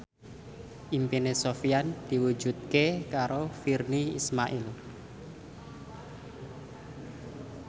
impine Sofyan diwujudke karo Virnie Ismail